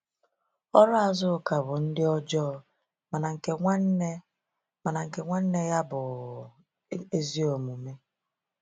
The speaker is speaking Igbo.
“Ọrụ Azuka bụ ndị ọjọọ, mana nke nwanne mana nke nwanne ya bụ ezi omume.”